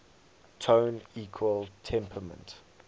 tone equal temperament